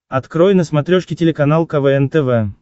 открой на смотрешке телеканал квн тв